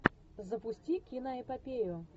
запусти киноэпопею